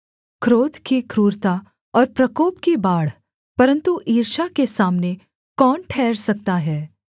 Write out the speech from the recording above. क्रोध की क्रूरता और प्रकोप की बाढ़ परन्तु ईर्ष्या के सामने कौन ठहर सकता है